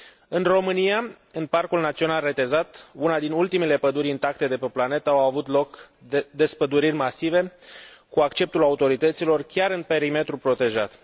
În România, în Parcul Național Retezat, una dintre ultimele păduri intacte de pe planetă, au avut loc despăduriri masive, cu acceptul autorităților, chiar în perimetrul protejat.